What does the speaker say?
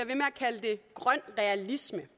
grøn realisme